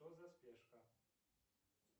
что за спешка